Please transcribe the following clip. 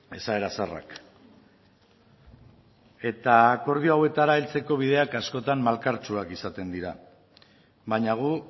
esaera zaharrak eta akordio hauetara heltzeko bideak askotan malkartsuak izaten dira baina gu